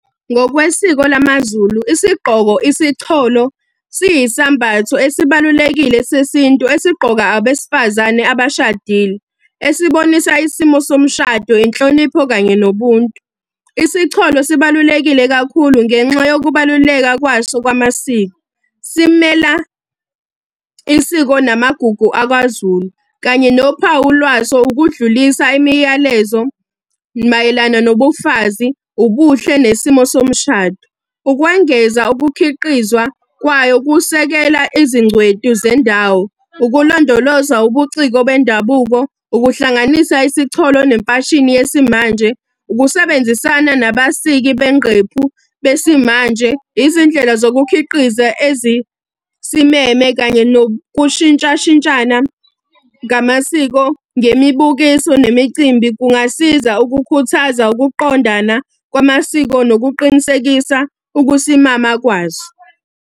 Ngokwesiko lamaZulu, isigqoko isicholo, siyi sambatho esibalulekile sesintu esigqokwa abesifazane abashadile. Esibonisa isimo somshado, inhlonipho, kanye nobuntu. Isicholo sibalulekile kakhulu ngenxa yokubaluleka kwaso kwamasiko, simela isiko namagugu akwaZulu. Kanye nophawu lwaso ukudlulisa imiyalezo mayelana nobufazi, ubuhle nesimo somshado. Ukwengeza ukukhiqizwa kwayo kusekela izingcweti zendawo, ukulondoloza ubuciko bendabuko, ukuhlanganisa isicholo nemfashini yesimanje, ukusebenzisana nabasizi bengqephu besimanje. Izindlela zokukhiqiza ezisimeme kanye nokushintshashintshana ngamasiko, nemibukiso, nemicimbi kungasiza ukukhuthaza ukuqondana kwamasiko nokuqinisekisa ukusimama kwazo.